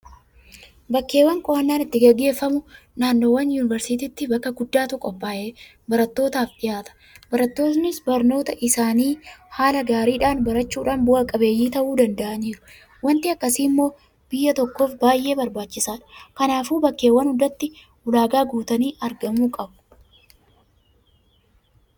Bakkeewwan qo'annaan itti gaggeeffamu naannoowwaan Yuunivarsiitiitti bakka guddaatu qophaa'ee barattoofaaf dhuyaata. Barattoonnis barnoota isaanii haala gaariidhaan barachuudhaan bu'a qabeeyyii ta'uu danda'aniiru. Waanti akkasii immoo biyya tokkoof baay'ee barbaachisaadha. Kanaafuu bakkeewwan hundatti ulaagaa guutanii argamuu qabu.